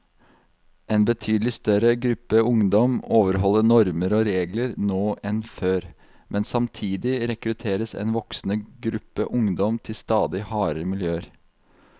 En betydelig større gruppe ungdom overholder normer og regler nå enn før, men samtidig rekrutteres en voksende gruppe ungdom til stadig hardere miljøer.